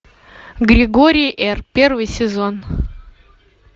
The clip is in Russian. григорий р первый сезон